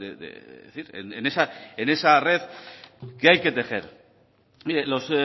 de decir en esa red que hay que tejer mire los